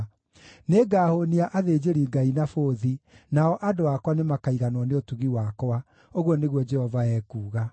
Nĩngahũũnia athĩnjĩri-Ngai na bũthi, nao andũ akwa nĩmakaiganwo nĩ ũtugi wakwa,” ũguo nĩguo Jehova ekuuga.